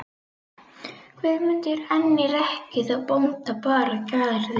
Guðmundur enn í rekkju þá bónda bar að garði.